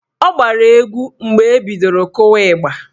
Ọ gbara egwu mgbe ebidoro kụwa ịgba.